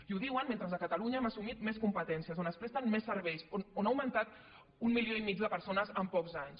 i ho diuen mentre a catalunya hem assumit més competències on es presten més serveis on ha augmentat un milió i mig de persones en pocs anys